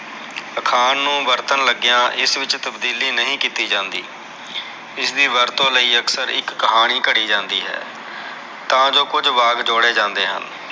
ਅਖਾਣ ਨੂ ਵਰਤਨ ਲਗਿਆ ਇਸ ਵਿਚ ਤਬਦੀਲੀ ਨਹੀ ਕੀਤੀ ਜਾਂਦੀ ਇਸ ਦੀ ਵਰਤੋ ਲਯੀ ਅਕਸਰ ਇਕ ਕਹਾਣੀ ਘੜੀ ਜਾਂਦੀ ਹੈ ਤਾ ਜੋ ਕੁਝ ਵਾਕ ਜੋੜੇ ਜਾਂਦੇ ਹਨ